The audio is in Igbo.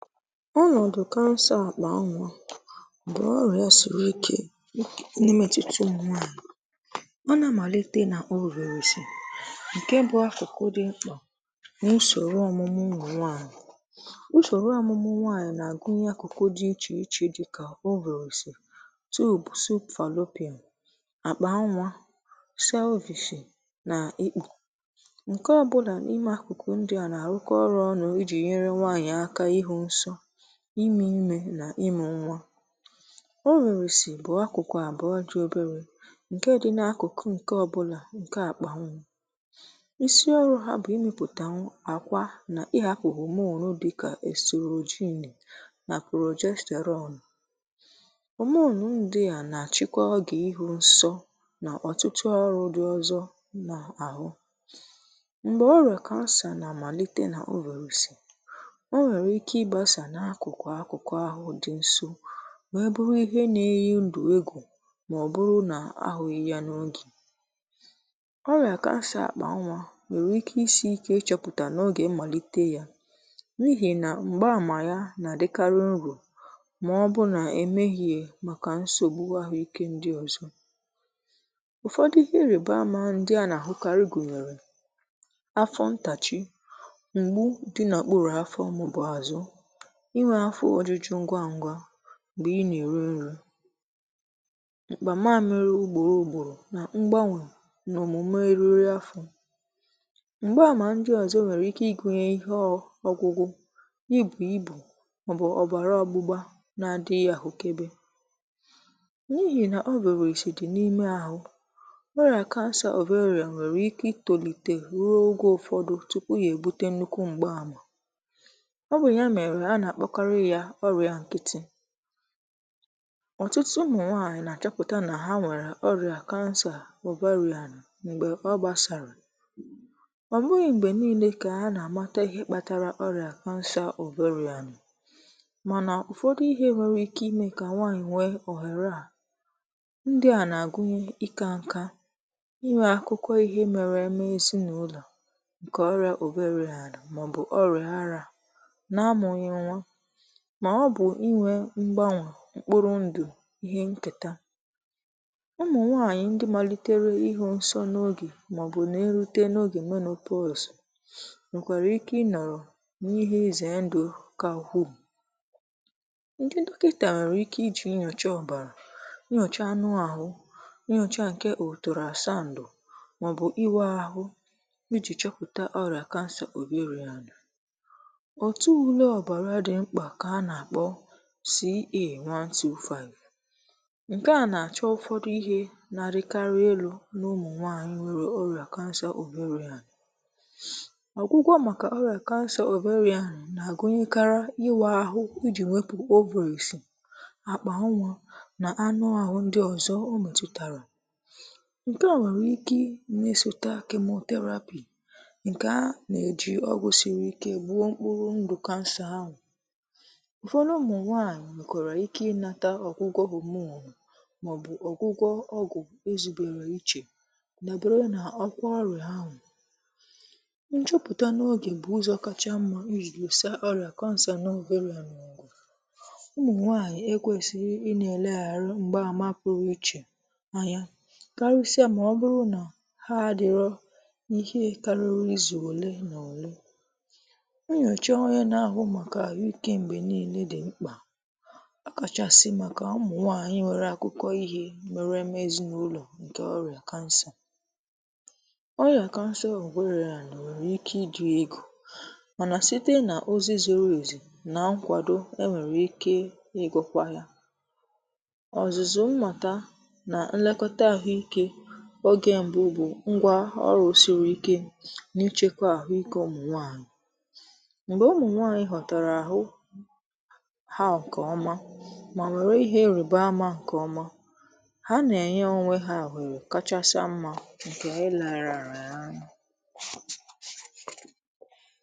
Ọ́nọ̀dụ́ Cancer àkpà ńwá bú ọ́rị̀á sírí íké n'ị́métụ́tá ụ́mụ̀ńwànyị̀. Ọ́ nà-ámàlíté nà ovaries ǹké bụ́ ákụ́kụ́ dị̀ ḿkpà n'úsòrò ọ́mụ́mụ́ ńwá ụ́mụ̀ńwànyị̀. Ùsòrò ọ́mụ́mụ́ ńwányị̀ nà-àgụ́nyé ákụ̀kụ̀ dị́ íchè íchè dị́kà; ovaries, tubes fallopian, àkpà ńwá, celvix nà íkpù. Ǹkè ọ́bụ́là n'ímé ákụ̀kụ̀ ńdị́à nà-àrụ́kọ́ ọ́rụ́ ọ́nụ́ íjì ǹyèrè ńwányị̀ áká ị́hụ́ ńsọ́, ímé ímé nà ị́mụ́ ńwá. Ovaries bụ ákụ̀kụ̀ àbụ́ọ́ dị́ óbéré ǹkè dị́ n'ákụ̀kụ̀ ǹkè ọ́bụ́là ǹkè àkpà ńwá. Ísí ọ́rụ́ há bú ị́mépụ̀tà nw àkwá ná ị́hàpụ́ hormone dị́kà oestrogen nà progesterone. Hormone ńdị́à nà-àchị́kọ́ ógè ị́hụ́ ńsọ́ nà ọ́tụ́tụ́ ọ́rụ́ ńdị́ ọ̀zọ́ nà-àhụ́. M̀gbè ọ́rị̀á cancer nà-ámàlíté nà ovaries, o ǹwèrè íké ị́gbásà ákụ̀kụ̀ ákụ̀kụ̀ àhụ́ dị́ ńsó wéé bụ́rụ́ íhé nà-ényí ńdụ̀ égwù mà ọ bụ́rụ́ nà àhụ́ghị́ yá n'ógè. Ọ́rị̀á cancer àkpà ńwá ǹwèrè íké ísí íké ị́chọ́pụ̀tà n'ógè ḿmàlíté yá n'íhì ná m̀gbá àmà yá ná-àdị́kárị́ ńrò mà ọ́ bụ́rụ́ nà émèhíè màkà ńsògbù àhụ́ íké ńdị́ ọ̀zọ́. Ụ̀fọ́dụ́ íhé ị́rị̀bá àmà ńdị́ á ná-àhụ́kárị́ gụ̀nyèrè; áfọ́ ńtáchí, m̀gbú dị́ n'òkpúrú áfọ́ àzụ́, ínwé Ọ́nọ̀dụ́ Cancer àkpà ńwá bú ọ́rị̀á sírí íké n'ị́métụ́tá ụ́mụ̀ńwànyị̀. Ọ́ nà-ámàlíté nà ovaries ǹké bụ́ ákụ́kụ́ dị̀ ḿkpà n'úsòrò ọ́mụ́mụ́ ńwá ụ́mụ̀ńwànyị̀. Ùsòrò ọ́mụ́mụ́ ńwányị̀ nà-àgụ́nyé ákụ̀kụ̀ dị́ íchè íchè dị́kà; ovaries, tubes fallopian, àkpà ńwá, celvix nà íkpù. Ǹkè ọ́bụ́là n'ímé ákụ̀kụ̀ ńdị́à nà-àrụ́kọ́ ọ́rụ́ ọ́nụ́ íjì ǹyèrè ńwányị̀ áká ị́hụ́ ńsọ́, ímé ímé nà ị́mụ́ ńwá. Ovaries bụ ákụ̀kụ̀ àbụ́ọ́ dị́ óbéré ǹkè dị́ n'ákụ̀kụ̀ ǹkè ọ́bụ́là ǹkè àkpà ńwá. Ísí ọ́rụ́ há bú ị́mépụ̀tà nw àkwá ná ị́hàpụ́ hormone dị́kà oestrogen nà progesterone. Hormone ńdị́à nà-àchị́kọ́ ógè ị́hụ́ ńsọ́ nà ọ́tụ́tụ́ ọ́rụ́ ńdị́ ọ̀zọ́ nà-àhụ́. M̀gbè ọ́rị̀á cancer nà-ámàlíté nà ovaries, o ǹwèrè íké ị́gbásà ákụ̀kụ̀ ákụ̀kụ̀ àhụ́ dị́ ńsó wéé bụ́rụ́ íhé nà-ényí ńdụ̀ égwù mà ọ bụ́rụ́ nà àhụ́ghị́ yá n'ógè. Ọ́rị̀á cancer àkpà ńwá ǹwèrè íké ísí íké ị́chọ́pụ̀tà n'ógè ḿmàlíté yá n'íhì ná m̀gbá àmà yá ná-àdị́kárị́ ńrò mà ọ́ bụ́rụ́ nà émèhíè màkà ńsògbù àhụ́ íké ńdị́ ọ̀zọ́. Ụ̀fọ́dụ́ íhé ị́rị̀bá àmà ńdị́ á ná-àhụ́kárị́ gụ̀nyèrè; áfọ́ ńtáchí, m̀gbú dị́ n'òkpúrú áfọ́ àzụ́, inwe áfọ́ ójújú ńgwá ńgwá m̀gbè ị̀ ná-èrí ńrí, àkpà màmị́rị́ ùgbòrò ùgbòrò nà ḿgbánwè n'òmùmè érírí áfọ́. M̀gbá àmà ńdị́ ọ̀zọ́ ǹwèrè íké ị́gụ́nyé íhé ọ̀gụ́gụ́, íbù íbù mà ọ́ bụ́ ọ̀bàrà ógbúgbá ná-ádị́ghị́ àhụ́kébé. N'íhì ná ovaries dị́ n'ímé àhụ́, ọ́rị̀á cancer ovarian ǹwèrè íké ítólíté rúò ógè ụ̀fọ́dụ́ túpú yá èbútè ńnúkwú m̀gbá àmà. Ọ́ bụ́ yá mèrè á ná-àkpọ́kárị́ yá ọ́rị̀á ńkị́tị́. Ọ́tụ́tụ́ ụ́mụ̀ńwànyị̀ ná -àchọ́pụ́tá nà há ǹwèrè ọ́rị̀á cancer ovarian m̀gbè ọ́ gbásárá, ọ́ bụ̀ghị m̀gbè ńíílé kà à nà -ámátá íhé kpátárá ọ́rị̀á cancer ovarian mànà ụ̀fọ́dụ́ íhé ńwèrè íké ímé kà ńwànyị̀ ńwéé ọ̀hèrè á, ńdị́à nà-àgụ́nyé ị́kà ńká, ị́nwè ákụ́kọ́ íhé méré ǹkè ọ́rị̀á ovarian màọ́bụ́ ọ́rị̀á árá nà ámụ́ghị̀ ńwá, mà ọ́ bụ́ ị́nwè ḿgbánwè, ḿkpụ́rụ́ ńdụ̀ íhé ńkètá. Ụ́mụ̀ńwànyị̀ ńdị́ málítéré ị̀hụ́ ńsọ́ n'ógè màọ́bụ́ ná-èrúté n'ógè menopause ǹwèkwàrà íké í nọ̀rọ̀ n'íhé ízè ńdụ̀ ká huum!. Ńdị́ dọ́kị́tà ǹwèrè íké íjì ńyòchá ọ̀bàrà, ńyòchá ánụ́ àhụ́, ńyòchá ǹkè ultrasound màọ́bụ́ ị́wụ̀ àhụ́ íjì chọ́pụ̀tà ọ́rị̀á cancer ovarian. Òtú úlé ọ̀bàrà dị́ ḿkpà kà à nà-àkpọ́ CA one two five, ńké á nà-àchọ́ ụ̀fọ́dụ́ íhé ná-árị́kárị́ élú n' ụ́mụ̀ńwànyị̀ ǹwèrè ọ́rị̀á cancer ovarian. Ọ̀gwụ́gwọ̀ màkà ọ́rị̀á cancer ovarian nà-àgụ́nyékárị́ ị́wà àhụ́, íjì wépụ̀ ovaries, àkpà ńwá na ánụ́ àhụ́ ńdị́ ọ̀zọ́ ọ́ m̀ètùtàrà. Ńké a ǹwèrè íké ímétụ̀tà chemotherapy ńké á ná-éjì ọ́gwụ̀ sírí íké gbúò ḿkpụ́rụ́ ńdụ̀ cancer áhụ́. Ụ̀fọ́dụ́ ụ́mụ̀ńwànyị̀ ǹwèkwàrà íké ị̀nàtà ọ̀gwụ́gwọ̀ hormone màọ́bụ́ ọ̀gwụ́gwọ̀ ọ́gwụ̀ ézùbèrè íchè ná bụ́rụ́ nà ọ́rị̀á áhụ́. Ńjụ́pụ́tá n'ógè bụ́ ụ́zọ̀ káchá ḿmá íjì lùsá ọ́rị̀á cancer ovarian ọ̀gụ̀. Ụ́mụ̀ńwànyị̀ ékwēsíghí ílēghàrụ̀ m̀gbá àmà pụ́rụ́ íchè ányá kárị́sị́à mà ọ́ bụ́rụ́ ná há ádị́rọ́ íhé kárị́rị́ ízù ole na òlé. Ńyòchá ọ́rị̀á ná -áhụ́ màkà àhụ́ íké m̀gbè ńíílé dị́ ḿkpà, ọ̀kàchàsị̀ màkà ụ́mụ̀ńwànyị̀ ǹwèrè ákụ́kọ́ íhé méré émé ézínụ́lọ̀ ǹkè ọ́rị̀á cancer. Ọ́rị̀á cancer ovarian ǹwèrè íké ị́dị̀ égwù mànà síté n'ózí zúrú ézú nà ńkwàdò, è ǹwèrè íké ị́gūkwá yá. Ọ̀zụ̀zụ̀ ḿmátá ná ńlékọ́tá àhụ́íké ógè m̀bụ́ bụ́ ńgwá ọ́rụ́ sírí íké ná-íchékwá àhụ́ íké ụ́mụ̀ńwànyị̀. M̀gbè ụ́mụ̀ńwànyị̀ ghọ̀tàrà àhụ́ há ǹkè ọ́má má wéré ihe ị́rị̀bá àmà há ǹkè ọ́má, há ná-ènyé ónwé há ọ̀hèrè káchásá ḿmá ǹkè éléghàràyà ányá.